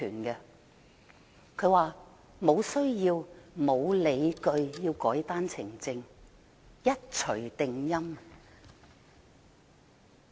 她卻說無需要和無理據要修改單程證，一錘定音。